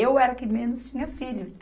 Eu era a que menos tinha filho.